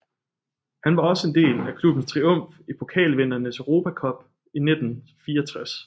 Han var også en del af klubbens triumf i Pokalvindernes Europa Cup i 1964